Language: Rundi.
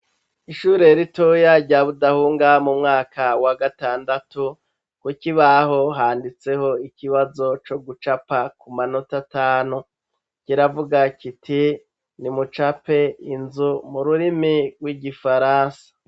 Ishure ritoya rya Budahunga mu mwaka wa gatandatu kukibaho handitseho ikibazo co gucapa ku manota atanu kiravuga kiti ni mucape inzu mu rurimi rw’igifarasa.